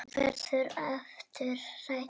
Verður aftur hrædd.